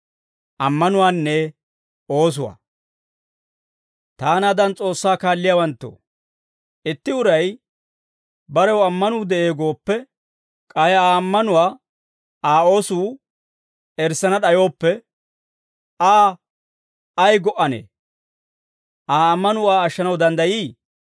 Taanaadan S'oossaa kaalliyaawanttoo, itti uray barew ammanuu de'ee gooppe, k'ay Aa ammanuwaa Aa oosuu erissana d'ayooppe, Aa ay go"anee? Aa ammanuu Aa ashshanaw danddayii?